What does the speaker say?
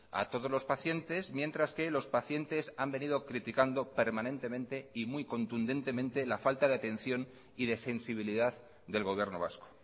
a todos los pacientes mientras que los pacientes han venido criticando permanentemente y muy contundentemente la falta de atención y de sensibilidad del gobierno vasco